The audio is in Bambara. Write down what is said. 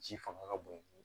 Ji fanga ka bon